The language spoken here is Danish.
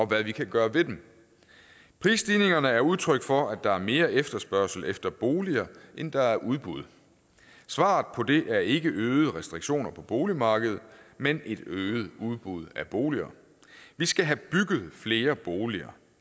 hvad vi kan gøre ved dem prisstigningerne er udtryk for at der er mere efterspørgsel efter boliger end der er udbud svaret på det er ikke øgede restriktioner på boligmarkedet men et øget udbud af boliger vi skal have bygget flere boliger